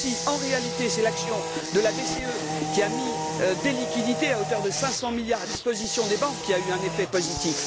En réalité, c'est l'action de la BCE, qui a mis des liquidités, à hauteur de 500 milliards, à disposition des banques, qui a eu un effet positif.